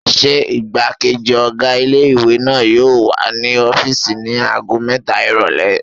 Ṣé igbákejì ọ̀gá ilé-ìwé náà yóò wà ní ọ́fìsì ní ago mẹ́ta ìrọ̀lẹ́?